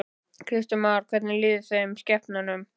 Kristján Már: Hvernig líður þeim, skepnunum?